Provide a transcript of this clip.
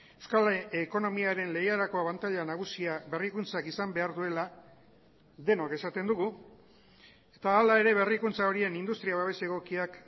euskal ekonomiaren legerako abantaila nagusia berrikuntzak izan behar duela denok esaten dugu eta hala ere berrikuntza horien industria babes egokiak